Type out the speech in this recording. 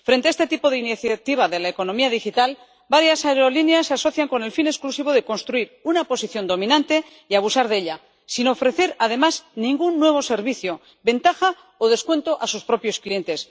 Frente a este tipo de iniciativa de la economía digital, varias aerolíneas se asocian con el fin exclusivo de construir una posición dominante y abusar de ella, sin ofrecer, además, ningún nuevo servicio, ventaja o descuento a sus propios clientes.